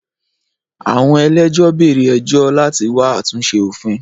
Àwọn ẹlẹ́jọ́ bẹ̀rẹ̀ ẹjọ́ láti wá àtúnṣe òfin.